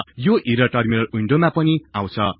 यो error terminal विन्डोमा पनि आउछ